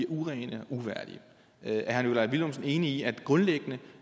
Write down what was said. urene og uværdige er herre nikolaj villumsen enig i at det grundlæggende